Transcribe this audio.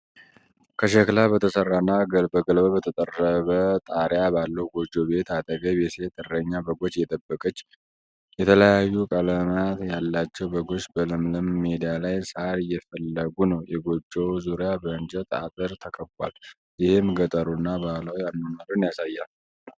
ከሸክላ በተሰራና ከገለባ በተጠረበ ጣሪያ ባለው ጎጆ ቤት አጠገብ፣ የሴት እረኛ በጎች እየጠበቀች። የተለያዩ ቀለማት ያላቸው በጎች በለምለም ሜዳ ላይ ሳር እየፈለጉ ነው። የጎጆው ዙሪያ በእንጨት አጥር ተከቧል, ይህም ገጠሩንና ባህላዊ አኗኗርን ያሳያል።